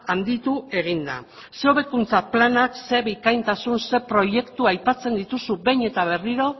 handitu egin da ze hobekuntza planak ze bikaintasun ze proiektu aipatzen dituzu behin eta berriro